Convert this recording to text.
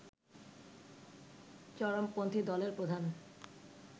চরমপন্থী দলের প্রধান